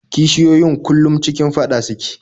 Kishiyoyin kullum cikin faɗa suke